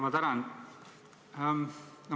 Ma tänan!